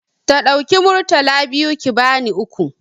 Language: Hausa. Ta ɗauki Murtala biyu ki bani uku.